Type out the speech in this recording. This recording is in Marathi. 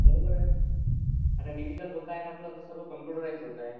बरोबर आहे. आता डिजिटल होत आहे म्हटलं तर सर्व कम्पुटराइज्ड होत आहे.